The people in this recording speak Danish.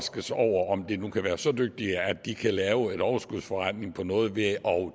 om de nu kan være så dygtige at de kan lave en overskudsforretning på noget ved at